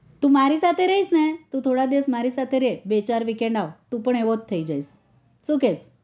તું મારી સાથે રઈસ ને તું થોડા દિવસ મારી સાથે રે બે ચાર weekend આવ તું પણ એવો થઇ જઈશ સુ કેય